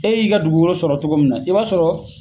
E y'i ka dugukolo sɔrɔ togo min na i b'a sɔrɔ